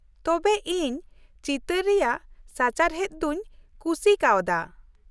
ᱛᱚᱵᱮ ᱤᱧ ᱪᱤᱛᱟᱹᱨ ᱨᱮᱭᱟᱜ ᱥᱟᱪᱟᱨᱦᱮᱫ ᱫᱚᱧ ᱠᱩᱥᱤ ᱠᱟᱣᱫᱟ ᱾